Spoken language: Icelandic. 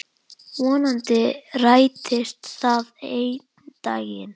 Vonandi rætist það einn daginn.